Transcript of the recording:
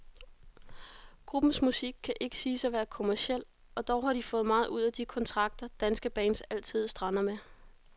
Gruppens musik kan ikke siges at være kommerciel, og dog har de fået meget ud af de kontrakter, danske bands altid strander med.